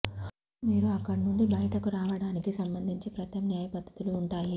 ముందుగా మీరు అక్కడ నుండి బయటకు రావడానికి సంబంధించి ప్రత్యామ్నాయ పద్ధతులు ఉంటాయి